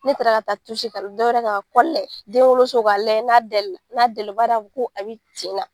Ne taara ka taa dɔwɛrɛ ka layɛ denwoloso k'a layɛ n'a dɛla n'a dɛla o b'a yira ko a bɛ tin na.